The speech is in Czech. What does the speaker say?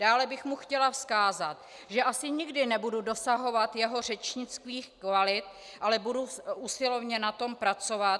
Dále bych mu chtěla vzkázat, že asi nikdy nebudu dosahovat jeho řečnických kvalit, ale budu usilovně na tom pracovat.